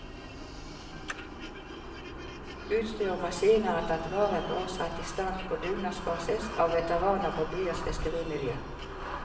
Utstyr og maskiner er tatt vare på og satt i stand på dugnadsbasis av veteraner fra byens fiskerimiljø.